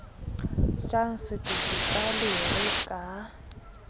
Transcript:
jang setoto ka lere ka